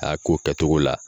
A y'a ko kɛtogo la.